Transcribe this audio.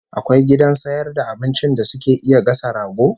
Akwai gidan sayar da abincin da suke iya gasa rago?